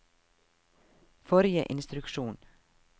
forrige instruksjon